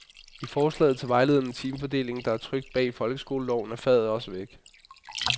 I forslaget til vejledende timefordeling, der er trykt bag i folkeskoleloven, er faget også væk.